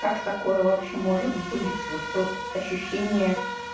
как такое вообще может быть вот тот ощущение